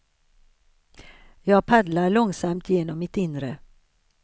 Jag paddlar långsamt genom mitt inre.